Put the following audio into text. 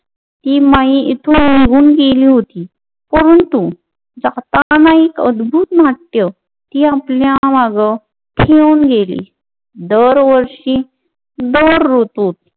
ती माई हित येऊन गेली होती, परंतु जाताना एक अद्भुत नाट्य ती आपल्या माग ठेऊन गेली. दर वर्षी दर ऋतूत